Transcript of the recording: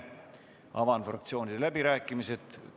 Avan fraktsioonide läbirääkimised.